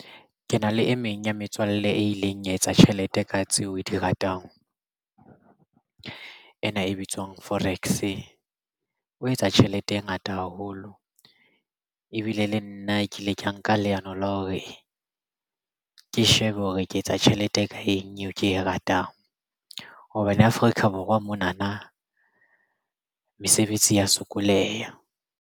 Ke na le e meng ya metswalle e ileng ya etsa tjhelete ka tseo o di ratang o ena e bitswang forex o etsa tjhelete e ngata haholo. Ebile le nna ke ile ka nka leano la hore ke shebe hore ke etsa tjhelete ka eng eo ke e ratang hobane Afrika Borwa mona na mesebetsi ya sokoleha.